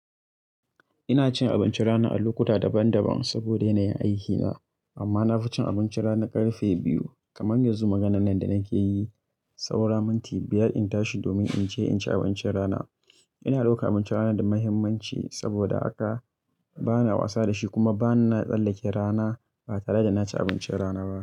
Ina cin abincin rana a lokuta daban-daban saboda yanayin aikina. Amma na fi cin abincin rana ƙarfe biyu. Kamar yanzu, maganan nan da nake yi, saura minti biyar in tashi domin in je in ci abincin rana. Ina roƙa abincin rana da muhimmanci saboda haka bana wasa da shi kuma bana tsallake rana ba tare da na ci abincin rana ba.